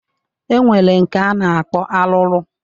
E nwere nke a na-akpọ arụrụ